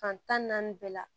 Fan tan ni naani bɛɛ la